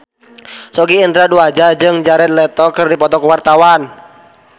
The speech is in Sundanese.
Sogi Indra Duaja jeung Jared Leto keur dipoto ku wartawan